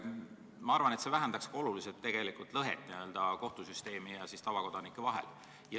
Ma arvan, et see vähendaks ka lõhet kohtusüsteemi ja tavakodanike vahel.